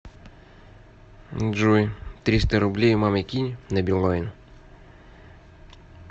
джой триста рублей маме кинь на билайн